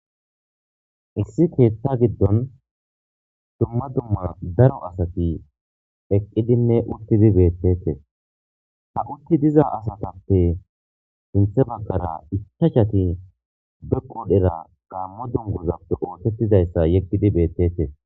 issi keetta giddon dumma dumma daro asati eqqidinne uttidi beettetes ha utti diza asatappe sinthe bagkara ichachati be qudhera gammo dungozappe ootettidayssa yeggidi beettete